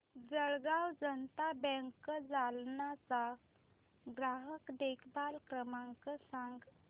जळगाव जनता बँक जालना चा ग्राहक देखभाल क्रमांक सांग